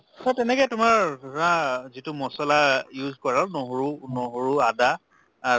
অ তেনেকে তোমাৰ ধৰা যিটো মচলা use কৰক নহৰু নহৰু আদা আ